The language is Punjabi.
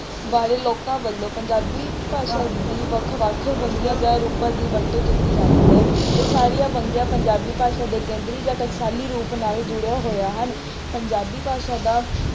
ਵਾਲੇ ਲੋਕਾਂ ਵੱਲੋਂ ਪੰਜਾਬੀ ਭਾਸ਼ਾ ਦੀ ਵੱਖ ਵੱਖ ਵੰਨਗੀਆਂ ਜਾਂ ਰੂਪਾ ਦੀ ਵਰਤੋਂ ਕੀਤੀ ਜਾਂਦੀ ਹੈ। ਇਹ ਸਾਰੀਆਂ ਵੰਨਗੀਆਂ ਪੰਜਾਬੀ ਭਾਸ਼ਾ ਦੇ ਕੇਂਦਰੀ ਜਾਂ ਟਕਸਾਲੀ ਰੂਪ ਨਾਲ ਜੁੜੀਆਂ ਹੋਈਆ ਹਨ। ਪੰਜਾਬੀ ਭਾਸ਼ਾ ਦਾ